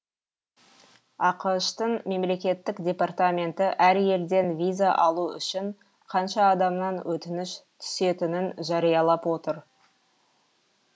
ақш тың мемлекеттік департаменті әр елден виза алу үшін қанша адамнан өтініш түсетінін жариялап отыр